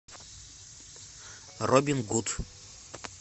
робин гуд